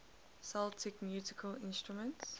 celtic musical instruments